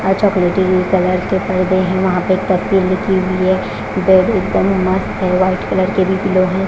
और चॉकलेटी भी कलर के परदे हैं वहाँ पे पट्टी लिखी हुई है बेड एकदम मस्त है व्हाइट कलर के भी पिलो है।